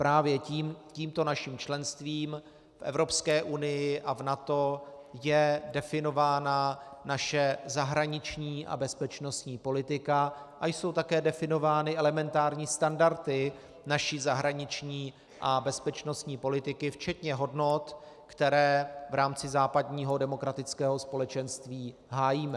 Právě tímto naším členstvím v Evropské unii a v NATO je definována naše zahraniční a bezpečnostní politika a jsou také definovány elementární standardy naší zahraniční a bezpečnostní politiky včetně hodnot, které v rámci západního demokratického společenství hájíme.